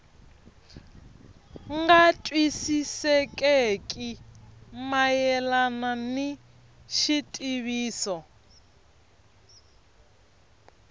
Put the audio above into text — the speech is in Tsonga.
nga twisisekeki mayelana ni xitiviso